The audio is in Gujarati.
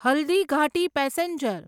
હલ્દીઘાટી પેસેન્જર